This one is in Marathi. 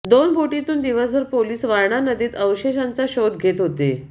दोन बोटीतून दिवसभर पोलिस वारणा नदीत अवशेषांचा शोध घेत होते